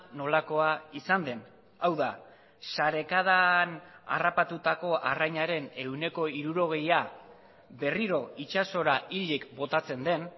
nolakoa izan den hau da sarekadan harrapatutako arrainaren ehuneko hirurogeia berriro itsasora hilik botatzen den